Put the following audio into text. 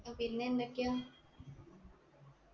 പിന്നെന്തൊക്കെയാ